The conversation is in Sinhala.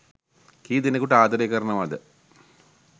කී ‌දෙ‌නෙකුට ආද‌රේ කරනවද